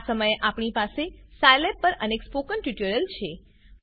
આ સમયે આપણી પાસે સાયલેબ પર અનેક સ્પોકન ટ્યુટોરીયલ છે